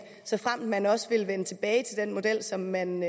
såfremt man også ville vende tilbage til den model som man